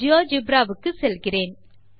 GeoGebra வுக்குச் செல்கிறேன்